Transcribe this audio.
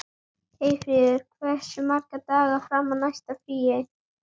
Eyfríður, hversu margir dagar fram að næsta fríi?